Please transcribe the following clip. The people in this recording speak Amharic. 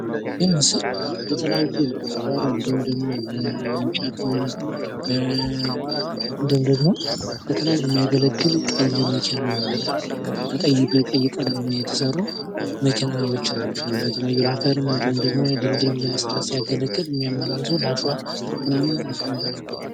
ይህ ምስል ለተለያዩ ለአፈር እንዲሁም ደሞ ለእንጨትም ሆነ እንዲሁም ደሞ ለተለያዩ የሚያገለግል ቀይ መኪና በቀይ በቀይ ቀለም የተሰሩ መኪናዎች ናቸው። ለተለያዩ ለአፈርም እንዲሁም ደሞ ድልድይም ለመስራትም ሲያገለግል እሚያመላልሱ ለአሽዋ ምናምን ሚከራይ ናቸው